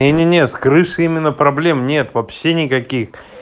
не-не-не с крышей именно проблем нет вообще никаких